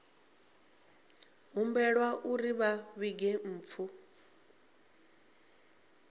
humbelwa uri vha vhige mpfu